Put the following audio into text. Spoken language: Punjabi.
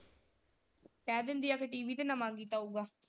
ਕਹਿ ਦਿੰਦੀ ਆ ਬਈ ਟੀਵੀ ਤੇ ਤਾਂ ਆਊਗਾ।